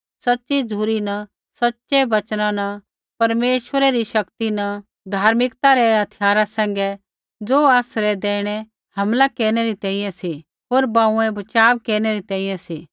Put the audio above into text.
सच़ी झ़ुरी न सच़ै वचना न परमेश्वरै री शक्ति न धार्मिकता रै हथियारा सैंघै ज़ो आसरै दैहिणै हमला केरनै री तैंईंयैं सी होर बांऊँऐ बचाव केरनै री तैंईंयैं सी